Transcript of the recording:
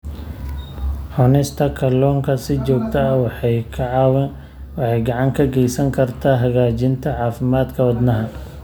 Cunista kalluunka si joogto ah waxay gacan ka geysan kartaa hagaajinta caafimaadka wadnaha.